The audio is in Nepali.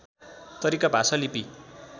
तरिका भाषा लिपि